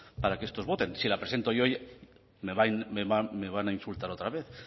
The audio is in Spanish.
para que estos voten si la presento yo me van a insultar otra vez